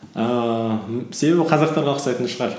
ііі себебі ол қазақтарға ұқсайтын шығар